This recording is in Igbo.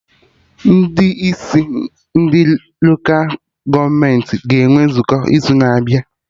Ndị isi ndị Lola gọọmenti ga-enwe nzukọ n'izu na-abịa